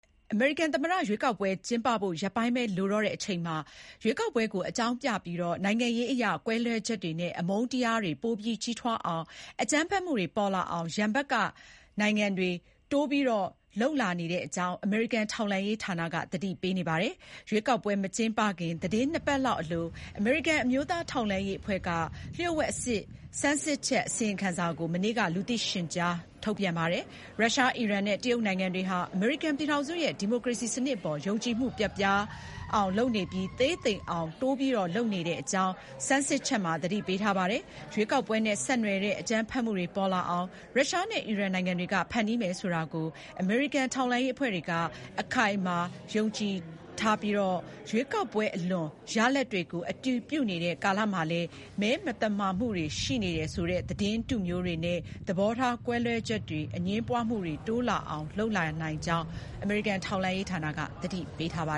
အမေရိကန် သမ္မတ ရွေးကောက်ပွဲ ကျင်းပဖို့ ရက်ပိုင်းပဲ လိုတော့တဲ့အချိန် ရွေးကောက်ပွဲကို အကြောင်းပြပြီး နိုင်ငံရေးအရ ကွဲလွဲချက်တွေနဲ့ အမုန်းတရားတွေ ပိုကြီးထွားအောင်၊ အကြမ်းဖက်မှုတွေ ပေါ်လာအောင် ရန်ဖက် နိုင်ငံတွေက တိုးလုပ်လာနေတဲ့အကြောင်း အမေရိကန် ထောက်လှမ်းရေးဌာနက သတိပေးနေပါတယ်။ ရွေးကောက်ပွဲ မကျင်းပခင် သီတင်း နှစ်ပတ်လောက်အလို အမေရိကန် အမျိုးသား ထောက်လှမ်းရေးအဖွဲ့က လျှို့ဝှက်အဆင့် စမ်းစစ်ချက် အစီရင်ခံစာကို မနေ့က လူသိရှင်ကြား ထုတ်ပြန်ပါတယ်။ ရုရှား၊ အီရန်နဲ့ တရုတ်နိုင်ငံတွေဟာ အမေရိကန်ပြည်ထောင်စုရဲ့ ဒီမိုကရေစီစနစ်အပေါ် ယုံကြည်မှု ပျက်ပြားပြီး သေးသိမ်အောင် တိုးပြီး လုပ်နေကြတဲ့အကြောင်း စမ်းစစ်ချက်မှာ သတိပေးထားပါတယ်။ ရွေးကောက်ပွဲနဲ့ ဆက်နွယ်တဲ့ အကြမ်းဖက်မှုတွေ ပေါ်လာအောင် ရုရှားနဲ့ အီရန်နိုင်ငံတွေက ဖန်တီးမယ်ဆိုတာကို အမေရိကန် ထောက်လှမ်းရေးအဖွဲ့တွေက အခိုင်အမာ ယုံကြည်ထားကြပါတယ်။ ရွေးကောက်ပွဲအလွန် ရလဒ်တွေကို အတည်ပြုနေတဲ့ ကာလမှာလည်း မဲမသမာမှုတွေ ရှိတယ်ဆိုတဲ့ သတင်းတုမျိုးတွေနဲ့ သဘောထားကွဲလွဲချက်တွေ၊ အငြင်းပွားမှုတွေ တိုးလာအောင် လုပ်လာနိုင်ကြောင်း ထောက်လှမ်းရေးဌာနက သတိပေးထားပါ